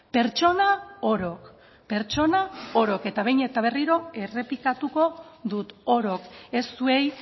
pertsona orok pertsona orok eta behin eta berriro errepikatuko dut orok ez zuei